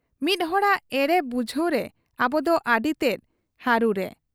ᱢᱤᱫ ᱦᱚᱲᱟᱜ ᱮᱲᱮ ᱵᱩᱡᱷᱟᱹᱣ ᱨᱮ ᱟᱵᱚᱫᱚ ᱟᱹᱰᱤᱛᱮᱫ ᱦᱟᱹᱨᱩᱨᱮ ᱾